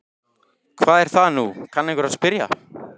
Hvað er það nú, kann einhver að spyrja.